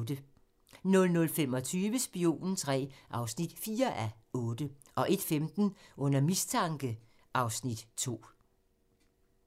00:25: Spionen III (4:8) 01:15: Under mistanke (Afs. 2)